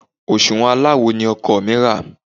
Òsùwọ́n aláwo ni ọkọ mi rà.